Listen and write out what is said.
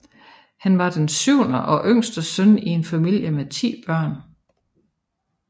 Han var den syvende og yngste søn i en familie med ti børn